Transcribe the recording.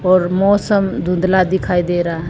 और मौसम धुंधला दिखाई दे रहा--